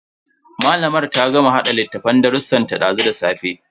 Malamar ta gama hada littafin darrusan ta dazu da safe.